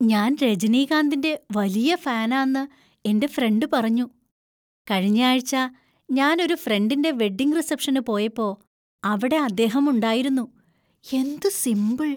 ഞാൻ രജനികാന്തിന്‍റെ വലിയ ഫാനാന്ന് എൻ്റെ ഫ്രണ്ട് പറഞ്ഞു. "കഴിഞ്ഞ ആഴ്ച, ഞാൻ ഒരു ഫ്രണ്ടിന്‍റെ വെഡിംഗ് റിസപ്ഷന് പോയപ്പോ അവിടെ അദ്ദേഹം ഉണ്ടായിരുന്നു. എന്തു സിമ്പിള്‍!".